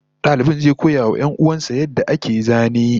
Dalibin zai koya wa 'yan'uwan sa yadda ake zane